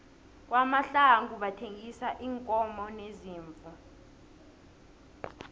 kwamahlangu bathengisa iinkomo neziimvu